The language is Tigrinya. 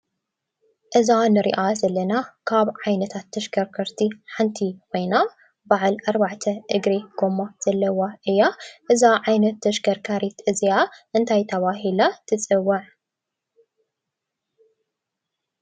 እዛ ንሪኣ ዘለና ካብ ዓይነታት ተሽከርከቲ ሓንቲ ኮይና፣ በዓል ኣርባዕተ እግሪ ጎማ ዘለዋ እያ። እዛ ዓይነት ተሽከርካሪት እዚኣ እንታይ ተባሂላ ትፅዋዕ ?